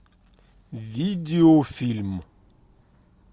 видеофильм